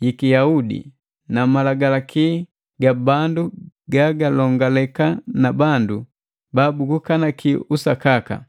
yiki Yahudi na malagalaki ga bandu gagalongaleka na bandu babugukaniki usakaka.